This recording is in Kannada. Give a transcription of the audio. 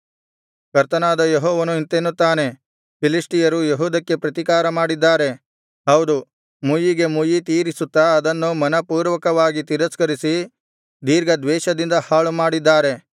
ಕರ್ತನಾದ ಯೆಹೋವನು ಇಂತೆನ್ನುತ್ತಾನೆ ಫಿಲಿಷ್ಟಿಯರು ಯೆಹೂದಕ್ಕೆ ಪ್ರತಿಕಾರಮಾಡಿದ್ದಾರೆ ಹೌದು ಮುಯ್ಯಿಗೆಮುಯ್ಯಿ ತೀರಿಸುತ್ತಾ ಅದನ್ನು ಮನಃಪೂರ್ವಕವಾಗಿ ತಿರಸ್ಕರಿಸಿ ದೀರ್ಘದ್ವೇಷದಿಂದ ಹಾಳುಮಾಡಿದ್ದಾರೆ